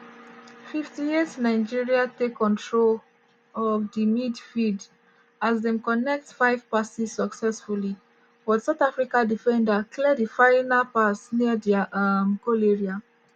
58' nigeria take control of di midfield as dem connect five passes successfully but south africa defender clear di final pass near dia um goal area.